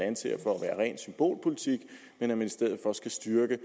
anser for at være ren symbolpolitik men at man i stedet for skal styrke